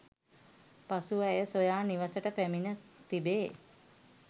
පසුව ඇය සොයා නිවසට පැමිණ තිබේ